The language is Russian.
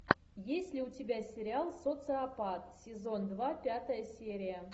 есть ли у тебя сериал социопат сезон два пятая серия